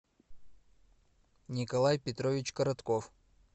николай петрович коротков